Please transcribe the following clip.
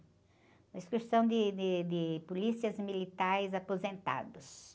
Uma excursão de, de, de polícias militares aposentados.